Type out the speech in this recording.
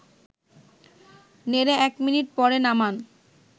নেড়ে ১ মিনিট পরে নামান